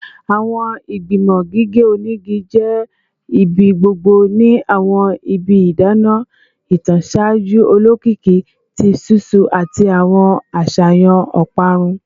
Awọn igbimọ gige onigi jẹ ibigbogbo ni awọn ibi idana itan ṣaaju olokiki ti ṣiṣu ati awọn aṣayan oparun